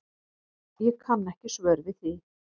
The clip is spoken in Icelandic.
Ég kann ekki svör við því.